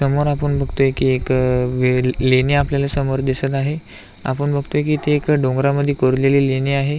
समोर आपण बघतोय की एक लेणी आपल्याला समोर दिसत आहे आपण बघतोय की ती एका डोंगरामध्ये कोरलेली लेणी आहे.